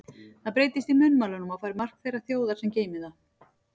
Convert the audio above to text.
Það breytist í munnmælunum og fær mark þeirrar þjóðar, sem geymir það.